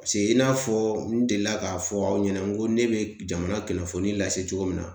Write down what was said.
Paseke i n'a fɔ n delila k'a fɔ aw ɲɛna n ko ne be jamana kunnafoni lase cogo min na ,